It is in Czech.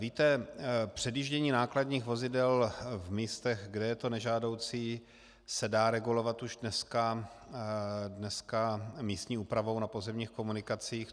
Víte, předjíždění nákladních vozidel v místech, kde je to nežádoucí, se dá regulovat už dneska místní úpravou na pozemních komunikacích.